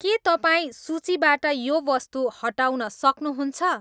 के तपाईँ सूचीबाट यो वस्तु हटाउन सक्नुहुन्छ